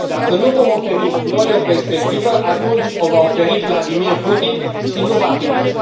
Dacă nu vom oferi noi o perspectivă, atunci o va oferi Vladimir Putin și nu va fi bine.